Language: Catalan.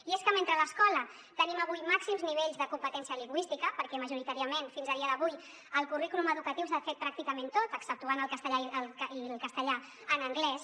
i és que mentre a l’escola tenim avui màxims nivells de competència lingüística perquè majoritàriament fins a dia d’avui el currículum educatiu s’ha fet pràcticament tot exceptuant el castellà i l’anglès